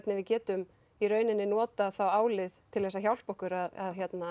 við getum þá notað álið til að hjálpa okkur að